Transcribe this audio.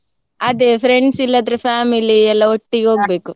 ಅದೇ friends ಇಲ್ಲದ್ರೆ family ಎಲ್ಲ ಒಟ್ಟಿಗೆ ಹೋಗ್ಬೇಕು.